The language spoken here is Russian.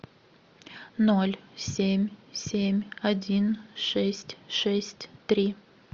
ноль семь семь один шесть шесть три